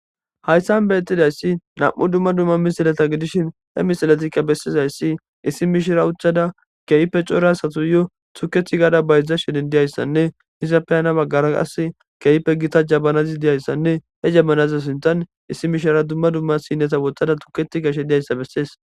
hayssan be exidayssi nam7u dumma dumma misilata gidishin he misilatikka bessizayssi issi mishira ucchada keeyppe core asatu yo tuketi gaada baydzdza shenin diyayssanne hizapeyana baggara qas keeype gita jabanazi diyayssanne he jammanaza sintan issi mishira dumma dumma sinneta woxtada tuketi gashe diyayssa bessees